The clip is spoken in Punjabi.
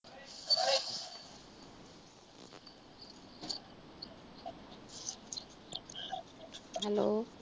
ਹੈਲੋ